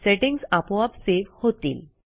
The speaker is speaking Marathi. सेटिंग्ज आपोआप सेव्ह होतील